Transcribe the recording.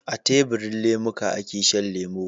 A tebirin lemuka ake Shan lemo